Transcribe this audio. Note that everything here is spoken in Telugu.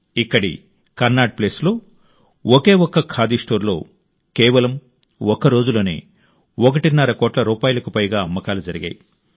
ఇక్కడి కన్నాట్ప్లేస్లో ఒకే ఒక్క ఖాదీ స్టోర్లో కేవలం ఒక్కరోజులోనే ఒకటిన్నర కోట్ల రూపాయలకు పైగా అమ్మకాలు జరిగాయి